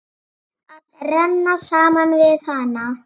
Að renna saman við hana.